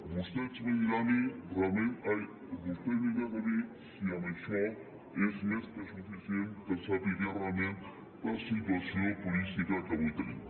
vostè me dirà a mi realment si això és més que suficient per a saber realment la situació turística que avui tenim